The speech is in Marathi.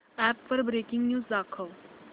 अॅप वर ब्रेकिंग न्यूज दाखव